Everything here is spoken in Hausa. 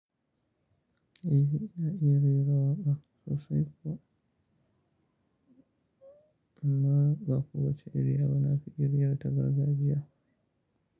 E, inaya ire rawa ba sosai ba, amma ba kowace iriya ba. Na fi iriyar ta gargajiya.